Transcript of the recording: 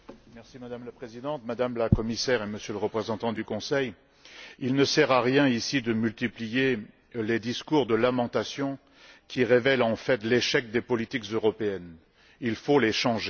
Madame la Présidente, Madame la Commissaire, Monsieur le Représentant du Conseil, il ne sert à rien ici de multiplier les discours de lamentation qui révèlent en fait l'échec des politiques européennes il faut les changer.